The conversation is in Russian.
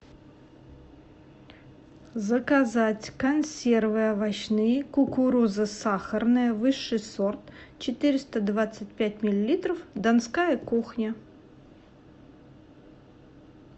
заказать консервы овощные кукуруза сахарная высший сорт четыреста двадцать пять миллилитров донская кухня